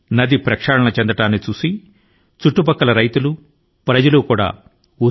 దీని ని చూసి సమీప ప్రాంత రైతులు ప్రజలు స్ఫూర్తి ని పొందారు